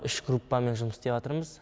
үш группамен жұмыс істеватырмыз